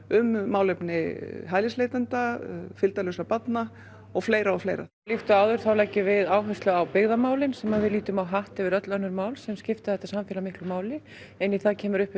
um málefni hælisleitenda fylgdarlausra barna og fleira og fleira líkt og áður þá leggjum við áherslu á byggðarmálin sem við lítum á hatt yfir öll önnur mál sem skipta þetta samfélag miklu máli inn í það kemur